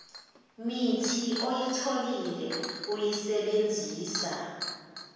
mithi oyitholile uyisebenzisa